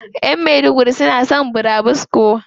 Ƴan maiduguri suna son burabusko.